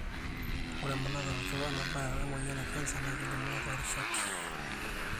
ore emanaroto we nebaya emoyian ecanser na kelimuni torishat,